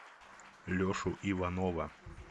лешу иванова